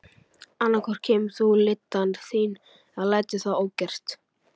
Annað hvort kemur þú lyddan þín eða lætur það ógert.